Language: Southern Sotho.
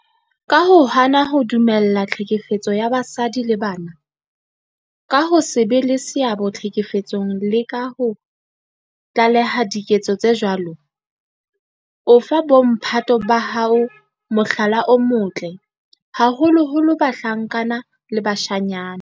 Ka ho hana ho dumella tlhekefetso ya basadi le bana, ka ho se be le seabo tlhekefetsong le ka ho tlaleha diketso tse jwalo, o fa bo mphato ba hao mohlala o motle, haholoholo bahlankana le bashanyana.